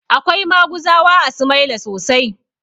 Akwai maguzawa a sumaila sosai